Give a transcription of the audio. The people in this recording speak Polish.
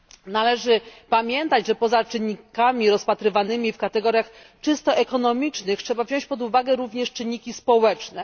Należy pamiętać, że poza czynnikami rozpatrywanymi w kategoriach czysto ekonomicznych trzeba wziąć pod uwagę również czynniki społeczne.